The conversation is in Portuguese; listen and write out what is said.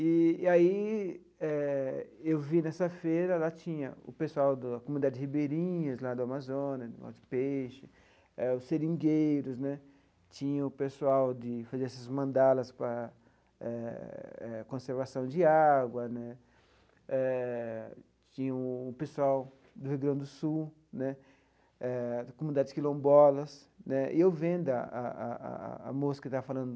Eee e aí eh eu vi nessa feira, lá tinha o pessoal da comunidade Ribeirinhas, lá do Amazonas, de peixe, eh os seringueiros né, tinha o pessoal de fazer essas mandalas para eh eh conservação de água né, eh tinha o pessoal do Rio Grande do Sul né, eh comunidades Quilombolas né, e eu vendo a a a a a moça que estava falando